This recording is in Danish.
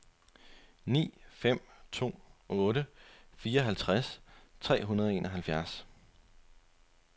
ni fem to otte fireoghalvtreds tre hundrede og enoghalvfjerds